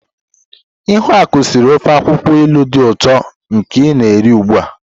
Ihuaku siri ofe akwukwo ilu di uto nke i na-eri ugbua.